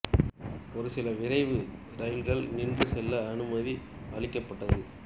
ஒரு சில விரைவு ரயில்கள் நின்று செல்ல அனுமதி அளிக்கப்பட்டது